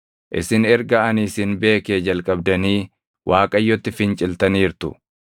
Isin erga ani isin beekee jalqabdanii Waaqayyotti finciltaniirtu.